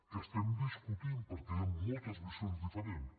que estem discutint perquè hi han moltes visions diferents